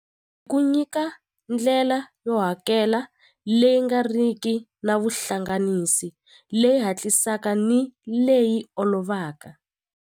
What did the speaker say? Ku nyika ndlela yo hakela leyi nga ri ki na vuhlanganisi leyi hatlisaka ni leyi olovaka.